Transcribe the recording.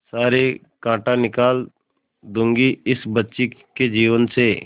सारे कांटा निकाल दूंगी इस बच्ची के जीवन से